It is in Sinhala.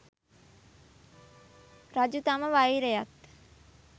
රජු තම වෛරයත්